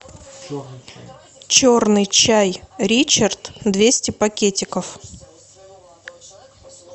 черный чай ричард двести пакетиков